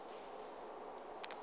o be a mo rata